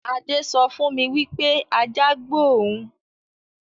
Adé sọ fún mi wípé ajá gbó òun